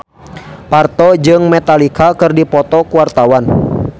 Parto jeung Metallica keur dipoto ku wartawan